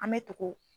An bɛ tugu